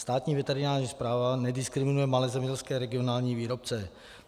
Státní veterinární správa nediskriminuje malé zemědělské regionální výrobce.